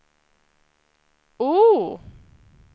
O